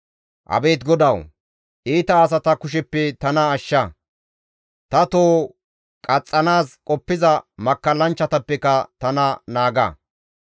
Abeet GODAWU! iita asata kusheppe tana ashsha; ta toho qaxxanaas qoppiza makkallanchchatappeka tana naaga.